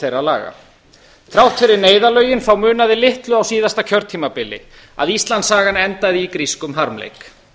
þeirra laga þrátt fyrir neyðarlögin þá munaði litlu á síðasta kjörtímabili að íslandssagan endaði í grískum harmleik